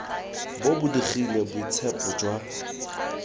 bo bo digile boitshepo jwa